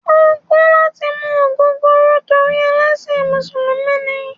O kò̩ lati mu ogogoro torí ẹlẹ́sìn musulumi ni